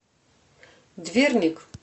дверник